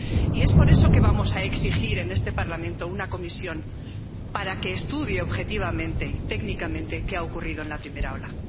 Y por eso vamos a exigir en este Parlamento una comisión para que estudie objetivamente, técnicamente, qué ha ocurrido en la primera ola.